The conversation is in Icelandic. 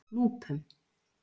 Núpum